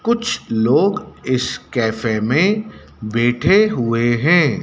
कुछ लोग इस कॅफे में बैठे हुए हैं।